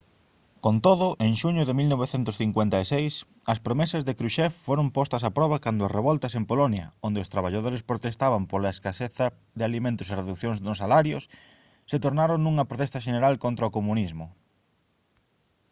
con todo en xuño de 1956 as promesas de krushchev foron postas a proba cando as revoltas en polonia onde os traballadores protestaban pola a escaseza de alimentos e reducións nos salarios se tornaron nunha protesta xeneral contra o comunismo